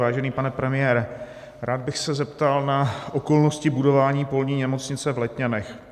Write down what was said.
Vážený pane premiére, rád bych se zeptal na okolnosti budování polní nemocnice v Letňanech.